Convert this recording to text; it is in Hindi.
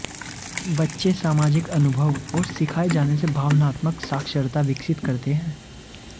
बच्चे सामाजिक अनुभव और सिखाए जाने से भावनात्मक साक्षरता विकसित करते हैं